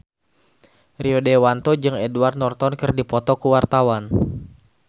Rio Dewanto jeung Edward Norton keur dipoto ku wartawan